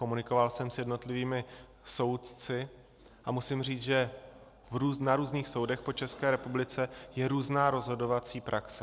Komunikoval jsem s jednotlivými soudci a musím říci, že na různých soudech po České republice je různá rozhodovací praxe.